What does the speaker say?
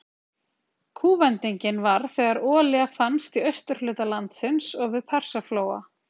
Kúvendingin varð þegar olía fannst í austurhluta landsins og við Persaflóa.